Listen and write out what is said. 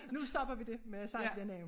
Nu stopper vi det med at sige de navne